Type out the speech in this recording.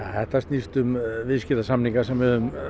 þetta snýst um viðskiptasamninga sem við